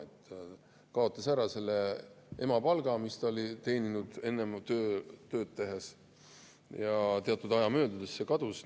Ta kaotas selle emapalga, mis ta oli teeninud enne oma tööd tehes, sest teatud aja möödudes see kadus.